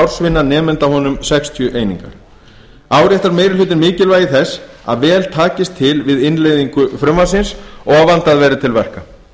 ársvinna nemanda búnu sextíu einingar áréttar minni hlutinn mikilvægi þess að vel takist til við innleiðingu frumvarpsins og vandað verði til verka